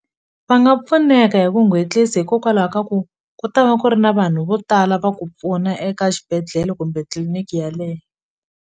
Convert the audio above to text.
Va nga pfuneka hi ku hikokwalaho ka ku ku ta va ku ri na vanhu vo tala va ku pfuna eka xibedhlele kumbe tliliniki yaleyo.